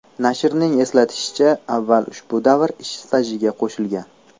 Nashrning eslatishicha, avval ushbu davr ish stajiga qo‘shilgan.